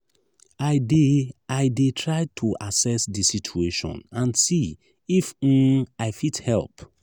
i dey i dey try to assess di situation and see if um i fit help.